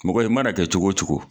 Mɔgɔ, i mana kɛ cogo o cogo.